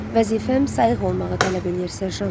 Vəzifəm sayıq olmağı tələb eləyir, Serjant.